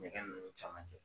Ɲɛgɛn nun caman kɛ.